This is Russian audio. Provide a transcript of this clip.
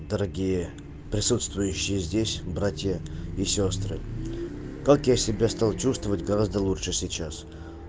дорогие присутствующие здесь братья и сёстры как я себя стал чувствовать гораздо лучше сейчас